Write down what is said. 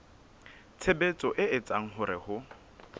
tshebetso e etsang hore ho